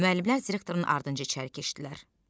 Müəllimlər direktorun ardınca içəri keçdilər.